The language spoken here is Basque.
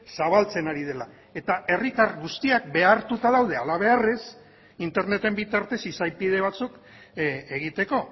zabaltzen ari dela eta herritar guztiak behartuta daude halabeharrez interneten bitartez izapide batzuk egiteko